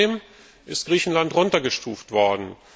Trotzdem ist Griechenland heruntergestuft worden.